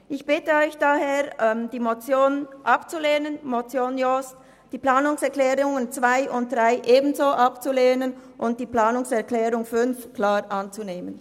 Ich bitte Sie daher, die Motion Jost und die Planungserklärungen 2 und 3 abzulehnen und die Planungserklärung 5 anzunehmen.